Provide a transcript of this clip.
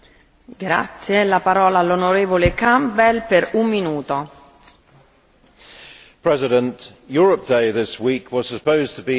Madam President, Europe Day this week was supposed to be a celebration of European national identity.